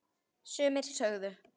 Sumir sögðu: